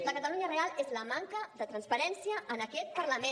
la catalunya real és la manca de transparència en aquest parlament